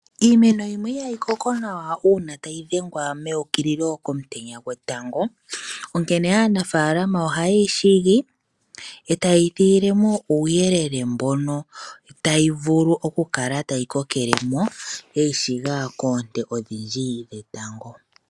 Iimeno yimwe ihayi koko nawa uuna tayi dhengwa meukililo komutenya onkene aanafaalama ohaye yi shigi e taye yi thigile mo uuyelele mbono tayi vulu okukala tayi kokele mo yeyishiga koonte odhindji dhetango.